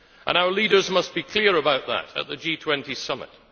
Our leaders must be clear about that at the G20 Summit.